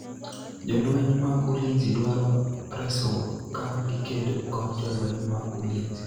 Jolweny mag Ulinzi dwaro resruok ka gikedo kod Jolweny mag Ulinzi